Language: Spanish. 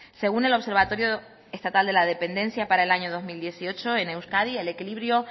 según el observatorio estatal de la dependencia para el año dos mil dieciocho en euskadi el equilibrio